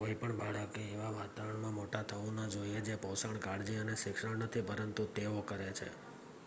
કોઈ પણ બાળકે એવા વાતાવરણમાં મોટા થવું ન જોઈએ જે પોષણ કાળજી અને શિક્ષણ નથી પરંતુ તેઓ કરે છે